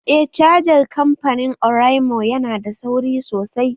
Eh cajar kamfanin oraimo yana da sauri sosai